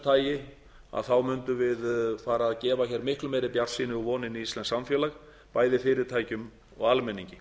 tagi mundum við fara að gefa miklu meiri bjartsýni og vonir inn í íslenskt samfélag bæði fyrirtækjum og almenningi